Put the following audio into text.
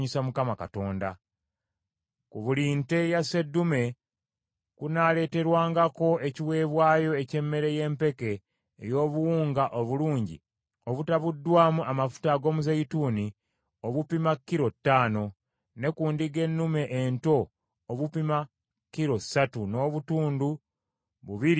Ku buli nte ya sseddume kunaaleeterwangako ekiweebwayo eky’emmere y’empeke ey’obuwunga obulungi obutabuddwamu amafuta ag’omuzeeyituuni obupima kilo ttaano; ne ku ndiga ennume ento, obupima kilo ssatu n’obutundu bubiri n’ekitundu;